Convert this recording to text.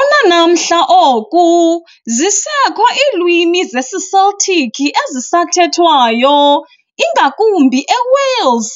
Unanamhla oku zisekho iilwimi zesiCeltic ezisathethwayo, ingakumbi eWales,